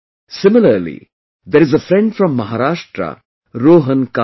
Similarly, there is a friend from Maharashtra, Rohan Kale